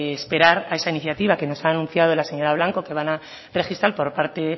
esperar a esa iniciativa que nos anunciado la señora blanco que van a registrar por parte